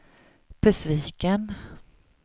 besviken